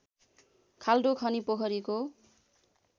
खाल्डो खनी पोखरीको